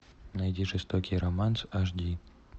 найди жестокий романс аш ди